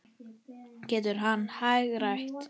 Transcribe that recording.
Getur hann hagrætt?